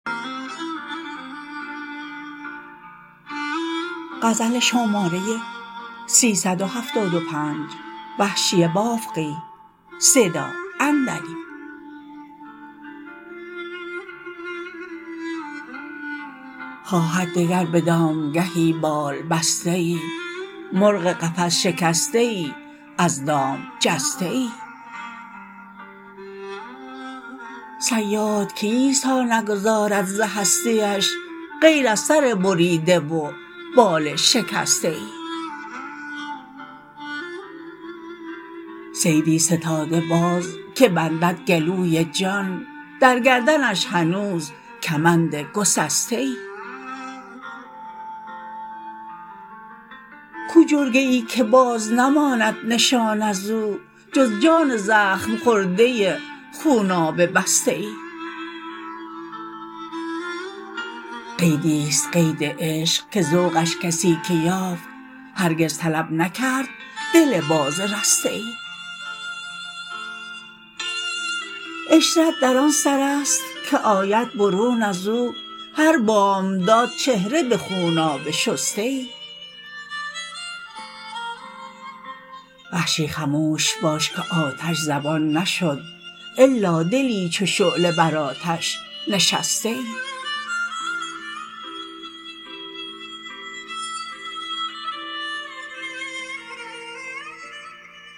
خواهد دگر به دامگهی بال بسته ای مرغ قفس شکسته ای از دام جسته ای صیاد کیست تا نگذارد ز هستیش غیر از سر بریده و بال شکسته ای صیدی ستاده باز که بندد گلوی جان در گردنش هنوز کمند گسسته ای کو جرگه ای که باز نماند نشان از او جز جان زخم خورده خونابه بسته ای قیدی ست قید عشق که ذوقش کسی که یافت هرگز طلب نکرد دل باز رسته ای عشرت در آن سر است که آید برون از او هر بامداد چهره به خونابه شسته ای وحشی خموش باش که آتش زبان نشد الا دلی چو شعله بر آتش نشسته ای